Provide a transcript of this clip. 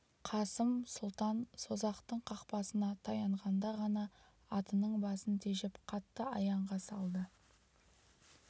қасым сұлтан созақтың қақпасына таянғанда ғана атының басын тежеп қатты аяңға салды